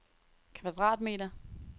kvadratmeter